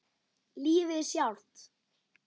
Lífið sjálft.